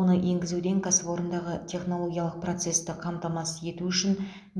оны енгізуден кәсіпорындағы технологиялық процесті қамтамасыз ету үшін